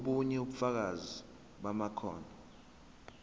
nobunye ubufakazi bamakhono